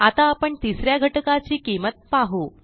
आता आपण तिस या घटकाची किंमत पाहू